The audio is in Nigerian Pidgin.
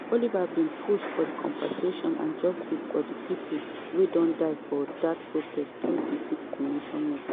oliver bin push for compensation and justice for di pipo wia don die for dat protest thru di #fixthecountry movement.